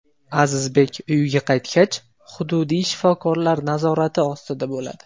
Azizbek uyiga qaytgach, hududiy shifokorlar nazorati ostida bo‘ladi.